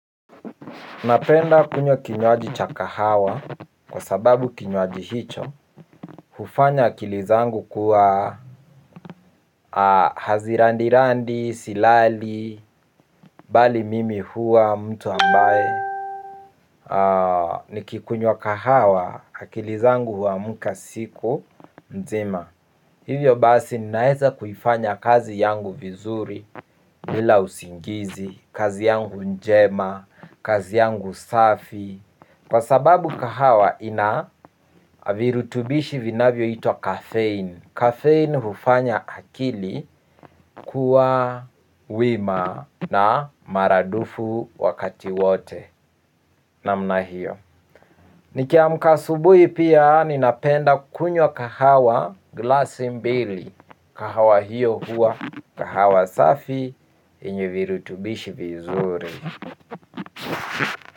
Napenda kunywa kinywaji cha kahawa kwa sababu kinywaji hicho hufanya akili zangu kuwa hazirandi randi, silali, bali mimi huwa, mtu ambaye nikikunywa kahawa, akili zangu huamka siku, nzima. Hivyo basi, ninaweza kufanya kazi yangu vizuri, bila usingizi, kazi yangu njema, kazi yangu safi, kwa sababu kahawa ina virutubisho vinavyoita kafeini. Kafeini hufanya akili kuwa wima na maradufu wakati wote namna hiyo. Nikiamka asubuhi pia ninapenda kunywa kahawa glasi mbili. Kahawa hiyo huwa kahawa safi yenye virutubisho vizuri.